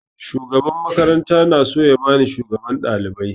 Shugaban makaranta na so ya bani shugaban ɗalibai